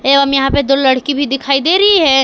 एवं यहां पे दो लड़की भी दिखाई दे रही है।